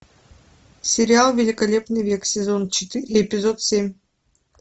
сериал великолепный век сезон четыре эпизод семь